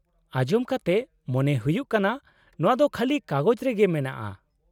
-ᱟᱸᱡᱚᱢ ᱠᱟᱛᱮ ᱢᱚᱱᱮ ᱦᱩᱭᱩᱜ ᱠᱟᱱᱟ ᱱᱚᱶᱟ ᱫᱚ ᱠᱷᱟᱹᱞᱤ ᱠᱟᱜᱚᱡᱽ ᱨᱮᱜᱮ ᱢᱮᱱᱟᱜᱼᱟ ᱾